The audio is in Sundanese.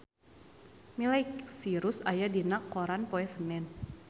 Miley Cyrus aya dina koran poe Senen